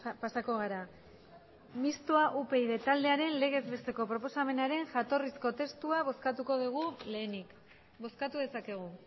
pasako gara mistoa upyd taldearen legez besteko proposamenaren jatorrizko testua bozkatuko dugu lehenik bozkatu dezakegu